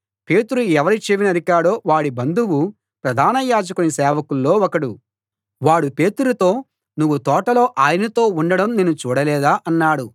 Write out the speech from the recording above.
పేతురు ఎవరి చెవి నరికాడో వాడి బంధువు ప్రధాన యాజకుని సేవకుల్లో ఒకడు వాడు పేతురుతో నువ్వు తోటలో ఆయనతో ఉండడం నేను చూడలేదా అన్నాడు